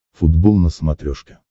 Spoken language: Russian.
футбол на смотрешке